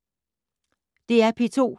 DR P2